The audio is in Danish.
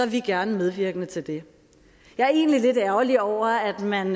vi gerne medvirke til det jeg er egentlig lidt ærgerlig over at man